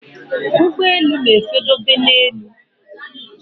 Ụgbọelu na efe dobe na élú